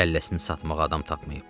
Kəlləsini satmağa adam tapmayıb?